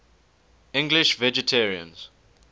english vegetarians